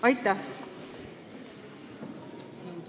Aitäh!